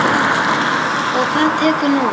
Og hvað tekur nú við?